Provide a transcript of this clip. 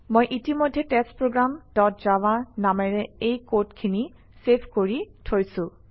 মই ইতিমধ্যেই test program dot Java নামেৰে এই কডখিনি চেভ কৰি থৈছোঁ